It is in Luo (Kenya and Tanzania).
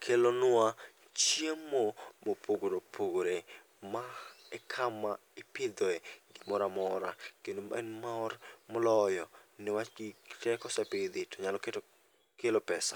kelonwa chiemo mopogore opogore. Ma e kama ipidhoe gimoramora, kendo en mor moloyo niwach gigi te kosepidhi to nyalo kelo pesa.